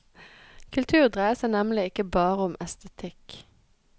Kultur dreier seg nemlig ikke bare om estetikk.